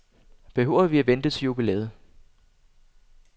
Behøver vi at vente til jubilæet?